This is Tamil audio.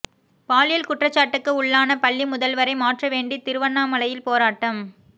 பாலியல் குற்றச்சாட்டுக்கு உள்ளான பள்ளி முதல்வரை மாற்ற வேண்டி திருவண்ணாமலையில் போராட்டம்